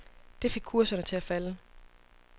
Det fik kurserne til at falde.